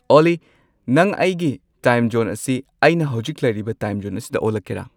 ꯑꯣꯜꯂꯤ ꯅꯪ ꯑꯩꯒꯤ ꯇꯥꯏꯝ ꯖꯣꯟ ꯑꯁꯤ ꯑꯩꯅ ꯍꯧꯖꯤꯛ ꯂꯩꯔꯤꯕ ꯇꯥꯏꯝ ꯖꯣꯟ ꯑꯁꯤꯗ ꯑꯣꯜꯂꯛꯀꯦꯔꯥ